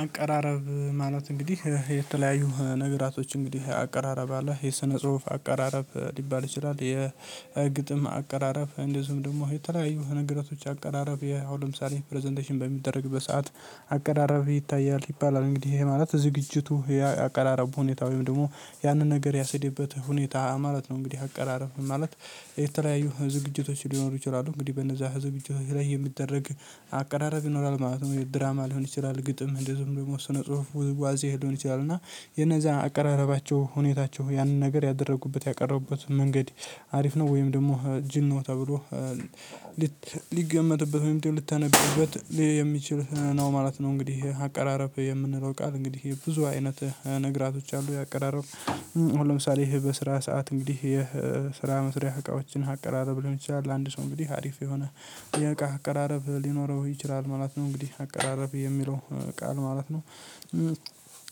አቀራረብ ማለት እንግዲህ የተለያዩ ነገራቶች እንግዲህ አቀራረብ አለ የሰነ ጽሁፍ አቀራረብ ሊባል ይችላል የግጥም አቀራረብ እንደዚሁም ደግሞ የተለያዩ ነገራቶች አቀራረብ የአሁን ለምሳሌ ፕረዘንቴሽን በሚደረግበት ሰዓት አቀራረብህ ይታያል ይባላል እንግዲህ ይሄ ማለት ዝግጅቱ ያቀራረቡ ሁኔታ ወይም ደግሞ ያንን ነገር ያስኬደበት ሁኔታ ማለት ነው። እንግዲህ አቀራረብ ማለት የተለያዩ ዝግጅቶች ሊኖሩ ይችላሉ እንግዲህ በነዛ ዝግጅቶች ላይ የሚደረግ አቀራረብ ይኖራል ማለት ነው። ድራማ ሊሆን ይችላል ግጥም እንደዚሁም ደግሞ ስለ ጽሁፍ ውዝዋዜ ሊሆን ይችላል እና የነዛ አቀራረባቸው ሁኔታቸው ያንን ነገር ያደረጉበት ያቀረቡበት መንገድ አሪፍ ነው ወይም ደግሞ ጅል ነው ተብሎ ሊገመትበት ወይም ሊተነበይበት የሚችል ነው ማለት ነው። እንግዲህ አቀራረብ የምንለው ቃል እንግዲህ ብዙ አይነት ነገራቶች አሉ። የአቀራረብ አሁን ለምሳሌ ይሄ በስራ ሰዓት እንግዲህ ይሄ የስራ መስሪያ እቃዎችን አቀራረብ ሊሆን ይችላል አንድ ሰው እንግዲህ አሪፍ የሆነ የእቃ አቀራረብ ሊኖረው ይችላል ማለት ነው። እንግዲህ አቀራረብ የሚለው ቃል ማለት ነው።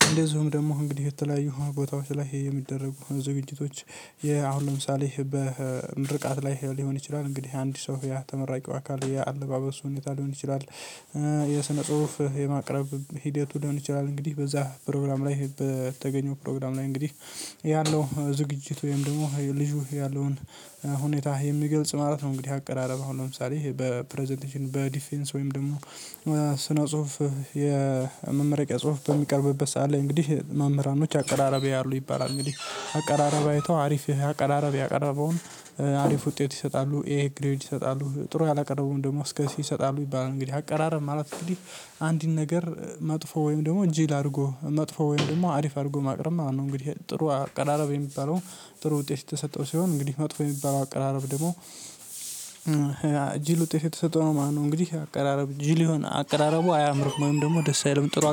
እንደዚሁም ደግሞ እንግዲህ የተለያዩ ቦታዎች ላይ የሚደረጉ ዝግጅቶች አሁን ለምሳሌ በምርቃት ላይ ሊሆን ይችላል እንግዲህ አንድ ሰው ያ ተመራቂው አካል የአለባበሱ ሁኔታ ሊሆን ይችላል። የስነ ጽሁፍ የማቅረብ ሂደቱ ሊሆን ይችላል እንግዲህ በዛ ፕሮግራም ላይ በተገኘው ፕሮግራም ላይ እንግዲህ ያለው ዝግጅት ወይም ደግሞ ልጁ ያለውን ሁኔታ የሚገልጽ ማለት ነው። እንግዲህ አቀራረብ አሁን ለምሳሌ በፕረዘንቴሽን በዲፌንስ ወይም ደግሞ ስነ ጽሁፍ የመመረቂያ ጽሁፍ በሚቀርብበት ሰዓት ላይ እንግዲህ መምህራኖች አቀራረብ ያያሉ ይባላል። እንግዲህ አቀራረብ አይተው አሪፍ አቀራረብ ያቀረበውን አሪፍ ውጤት ይሰጣሉ ኤ ግሬድ ይሰጣሉ ጥሩ ያላቀረቡም ደግሞ እስከ ሲ ይሰጣሉ ይባላል። እንግዲህ አቀራረብ ማለት እንግዲህ አንድን ነገር መጥፎ ወይም ደግሞ ጅል አድርጎ መጥፎ ወይም ደግሞ አሪፍ አድርጎ ማቅረብ ማለት ነው። እንግዲህ ጥሩ አቀራረብ የሚባለው ጥሩ ውጤት የተሰጠው ሲሆን እንግዲህ መጥፎ የሚባለው አቀራረብ ደግሞ ጅል ውጤት የተሰጠው ነው ማለት ነው። እንግዲህ አቀራረብ ጅል የሆነ አቀራረቡ አያምርህም ወይም ደግሞ ደስ የለም ጥሩ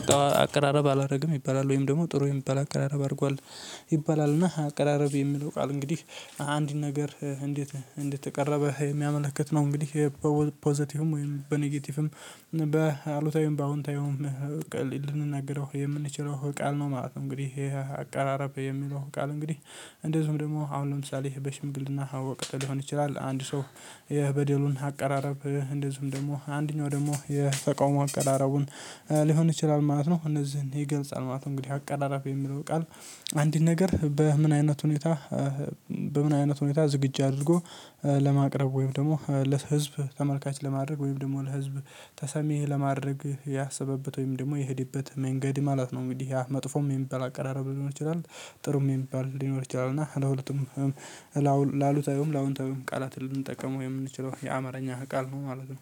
አቀራረብ አላደርግም ይባላል። ወይም ደግሞ ጥሩ የሚባል አቀራረብ አድርጓል ይባላል። እና አቀራረብ የሚለው ቃል እንግዲህ አንድ ነገር እንዴት እንዴት ተቀረበ የሚያመለክት ነው። እንግዲህ ፖዘቲቭም ወይም በኔጌቲቭም በአሉታዊውም በአዎንታዊውም ልንናገረው የምንችለው ቃል ነው። ማለት እንግዲህ ይሄ አቃራረብ የሚለው ቃል እንግዲህ እንደዚሁም ደግሞ አሁን ለምሳሌ በሽምግል እና ሊሆን ይችላል አንድ ሰው የበደሉን አቀራረብ እንደዚሁም ደግሞ አንደኛው ደግሞ የተቃውሞ አቀራረቡን ሊሆን ይችላል ማለት ነው። እነዚህን የገልጻል ማለት ነው። እንግዲህ አቀራራብ የሚለው ቃል አንድን ነገር በምን አይነት ሁኔታ በምን አይነት ሁኔታ ዝግጁ አድርጎ ለማቅረብ ወይም ደግሞ ለህዝብ ተመልካች ለማድረግ ወይም ደግሞ ለህዝብ ተሰሚ ለማድረግ ያሰበበት ወይም ደግሞ የሄደበት መንገድ ማለት ነው። እንግዲህ ያ መጥፎም የሚባል አቀራረብ ሊሆን ይችላል ጥሩም የሚባል ሊሆን ይችላል እና ለሁለቱም ለአሉታዊውም ለአወንታዊውም ቃላት ልንጠቀመው የምንችለው የአማረኛ ቃል ነው ማለት ነው።